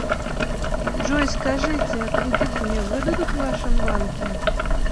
джой скажите а кредит мне выдадут в вашем банке